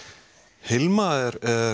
Hilma er